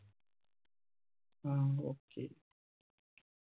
ആ okay